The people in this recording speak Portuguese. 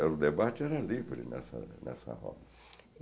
O debate era livre nessa nessa roda.